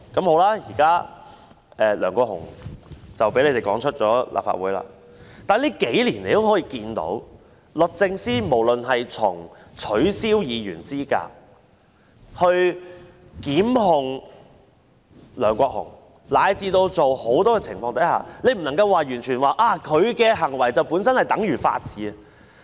好了，現時梁國雄被他們趕離立法會了，但在最近數年可以看到，從取消議員資格、檢控梁國雄，以至很多情況看來，你不能說律政司的行為本身就等於法治。